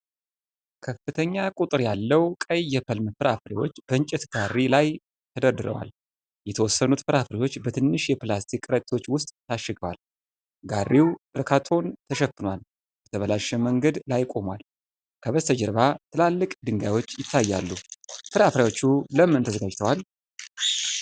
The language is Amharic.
ከፍተኛ ቁጥር ያለው ቀይ የፕለም ፍራፍሬዎች በእንጨት ጋሪ ላይ ተደርድረዋል። የተወሰኑት ፍራፍሬዎች በትንሽ የፕላስቲክ ከረጢቶች ውስጥ ታሽገዋል። ጋሪው በካርቶን ተሸፍኗል፤ በተበላሸ መንገድ ላይ ቆሟል። ከበስተጀርባ ትላልቅ ድንጋዮች ይታያሉ። ፍራፍሬዎቹ ለምን ተዘጋጅተዋል?